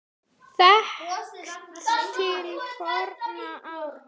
Þekkt til forna áttin sú.